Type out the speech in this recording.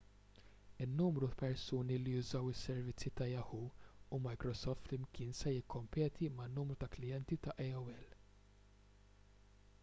in-numru ta' persuni li jużaw is-servizzi ta' yahoo u microsoft flimkien se jikkompeti man-numru ta' klijenti ta' aol